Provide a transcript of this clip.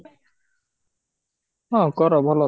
ହଁ କର ଭଲ ତ